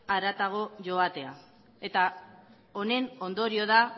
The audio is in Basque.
haratago joatea eta honen ondorio da